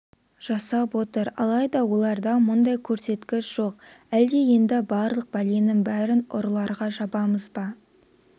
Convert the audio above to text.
жасап отыр алайда оларда мұндай көрсеткіш жоқ әлде енді барлық бәленің бәрін ұрыларға жабамыз ба